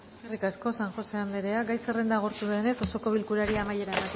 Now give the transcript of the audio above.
eskerrik asko san josé anderea gai zerrenda agortu denez ez osoko bilkurari amaiera